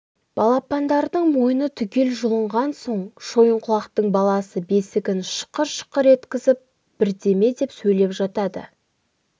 балапандардың мойны түгел жұлынған соң шойынқұлақтың баласы бесігін шықыр-шықыр еткізіп бірдеме деп сөйлеп жатады